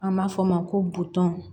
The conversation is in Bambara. An b'a fɔ o ma ko butɔn